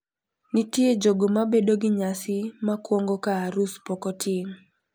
Nitie jogo mabedo gi nyasi makwongo ka arus pok otim.